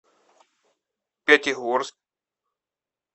пятигорск